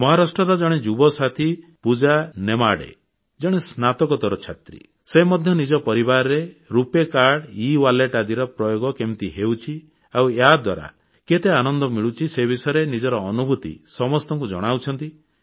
ମହାରାଷ୍ଟ୍ରର ଜଣେ ଯୁବ ସାଥୀ ପୂଜା ନେମାଡ଼େ ଜଣେ ସ୍ନାତକୋତ୍ତର ଛାତ୍ରୀ ସେ ମଧ୍ୟ ନିଜ ପରିବାରରେ ରୁପେ କାର୍ଡ ଇୱାଲେଟ୍ ଆଦିର ପ୍ରୟୋଗ କେମିତି ହେଉଛି ଆଉ ୟାଦ୍ୱାରା କେତେ ଆନନ୍ଦ ମିଳୁଛି ସେ ବିଷୟରେ ନିଜର ଅନୁଭୂତି ସମସ୍ତଙ୍କୁ ଜଣାଉଛନ୍ତି